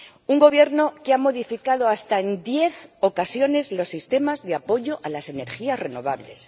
Un Gobierno que ha modificado hasta en diez ocasiones los sistemas de apoyo a las energías renovables